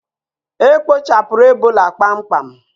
E kpochapụrụ Ebola kpamkpam